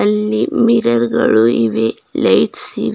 ಅಲ್ಲಿ ಮಿರರ್ ಗಳು ಇವೆ ಲೈಟ್ಸ್ ಇವೆ.